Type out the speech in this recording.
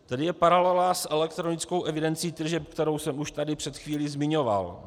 Tady je paralela s elektronickou evidencí tržeb, kterou jsem už tady před chvílí zmiňoval.